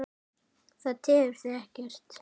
Það tefur þig ekkert.